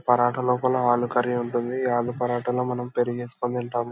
పరాటా లోపల ఆలూ కరీ ఉంటుంది ఈ ఆలూ పరాట లో మనం పెరుగు ఏసుకుని తింటాము.